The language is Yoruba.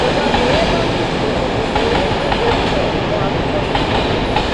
mo bá tọwọ bàpò mo kó gbogbo owó tí nbẹ níbẹ fún arúgbó yìí